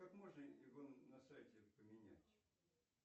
как можно его на сайте поменять